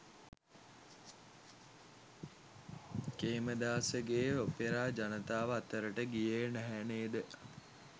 කේමදාසගේ opera ජනතාව අතරට ගියේ නැහැ නේද.